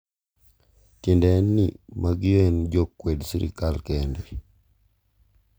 tiende en ni magi e jo kwed sirikal kende